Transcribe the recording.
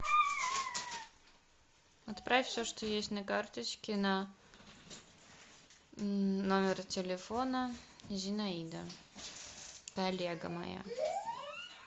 отправь все что есть на карточке на номер телефона зинаида коллега моя